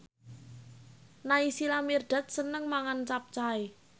Naysila Mirdad seneng mangan capcay